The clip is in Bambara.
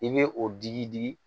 I bɛ o digi digi